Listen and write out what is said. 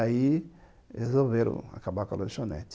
Aí resolveram acabar com a lanchonete.